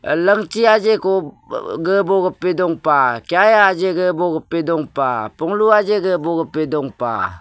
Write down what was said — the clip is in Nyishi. langchii ajii gabu kayah ejii dong pah panglu dong pah.